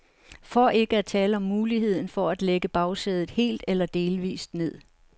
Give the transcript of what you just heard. For ikke at tale om muligheden for at lægge bagsædet helt eller delvist ned.